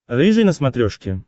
рыжий на смотрешке